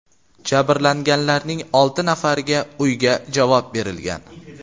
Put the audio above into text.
Jabrlanganlarning olti nafariga uyga javob berilgan.